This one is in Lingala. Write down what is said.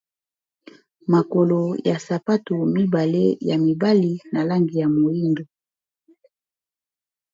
makolo ya sapatu mibale ya mibali na langi ya moindo